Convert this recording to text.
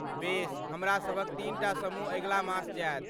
बेस। हमरासभक तीनटा समूह अगिला मास जाएत।